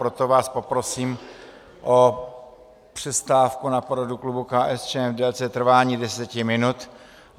Proto vás poprosím o přestávku na poradu klubu KSČM v délce trvání deseti minut.